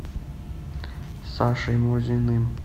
сашей мурзиным